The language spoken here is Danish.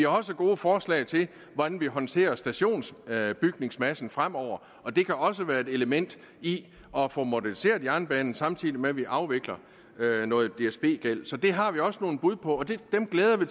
også gode forslag til hvordan vi håndterer stationsbygningsmassen fremover og det kan også være et element i at få moderniseret jernbanen samtidig med at vi afvikler noget dsb gæld så det har vi også nogle bud på og dem glæder vi